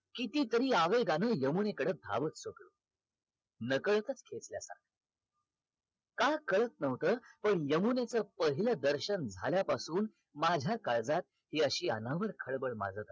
किती तरी आवेगाने यामुनेकडे धावत होतो नकळतच खेचल्या जात होतो का कळत नव्हत पण यमुनेच पहिल दर्शन झाल्या पासून माझ्या काळजात हि अशी अनावर खळबळ माजत होती